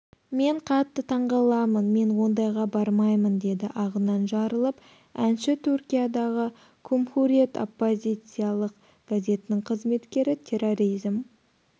мен қатты таңғаламын мен ондайға бармаймын деді ағынан жарылып әнші түркиядағы кумхуриет оппозициялық газеттің қызметкері терроризм